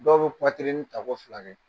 Dɔw bɛ tako fila kɛ